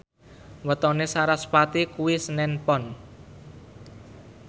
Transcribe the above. wetone sarasvati kuwi senen Pon